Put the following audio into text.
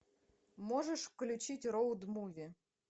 можешь включить роуд муви